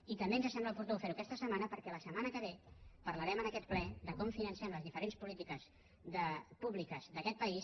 i també ens sembla oportú fer ho aquesta setmana perquè la setmana que ve parlarem en aquest ple de com financem les diferents polítiques públiques d’aquest país